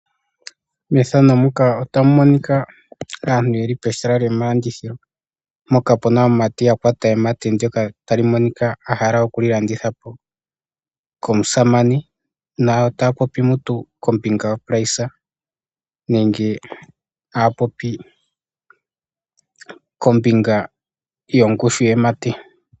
Aantu ohaya kala pomahala gomalandithilo mpoka hapu kala aamumati yakwata emate ndyoka ya hala okulilandithapo komusamane na otaya popi kombinga yondando halyo nenge taya popi kombinga yongushu yemate .